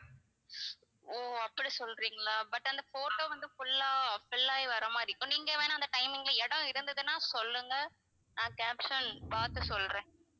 ஓ அப்படி சொல்றீங்களா but அந்த photo வந்து full லா fill ஆகி வர்ற மாதிரி இருக்கும் நீங்க வேணும்னா அந்த timing ல இடம் இருந்துன்னா சொல்லுங்க நான் caption பார்த்து சொல்றேன்